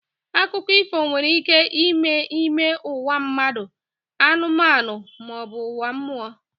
Akụkọ ifo nwere ike ime n'ime ụwa mmadụ, anụmanụ ma ọ bụ ụwa mmụọ